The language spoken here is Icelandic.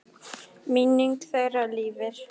Minning þeirra lifir.